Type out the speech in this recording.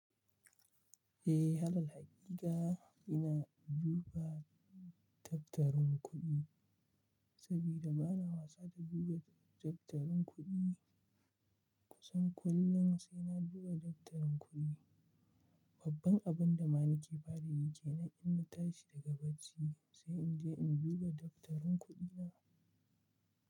Eh, halal hakika ina duba daftarin kuɗi saboda bana wasa da duba daftarin kuɗi kusan kullum sai na duba daftarin kuɗi. Babban abun da ma nake farayi ke nan inna tashi daga bacci sai in je in duba daftarin kuɗina.